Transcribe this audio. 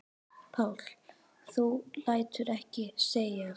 Páll: Þú lætur ekki segjast?